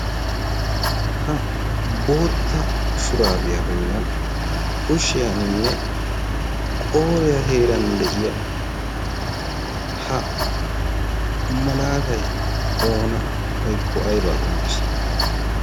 ha bootta shuraabiyaa bollan kushiyaaninne qooriyaa heeran de'iya ha malaatai oona woykko aybaa qonccisi?